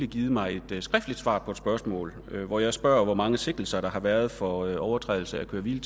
givet mig et skriftligt svar på et spørgsmål hvor jeg spørger hvor mange sigtelser der har været for overtrædelser af køre hvile